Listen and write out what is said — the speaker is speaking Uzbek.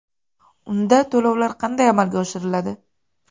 Unda to‘lovlar qanday amalga oshiriladi?